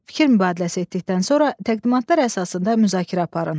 Fikir mübadiləsi etdikdən sonra təqdimatlar əsasında müzakirə aparın.